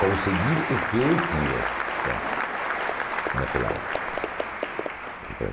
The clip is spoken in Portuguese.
Conseguir o que eu tinha lá, naquela época.